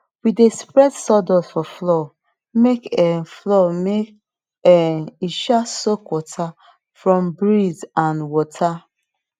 we dey spread sawdust for floor make um floor make um e um soak water from breeze and water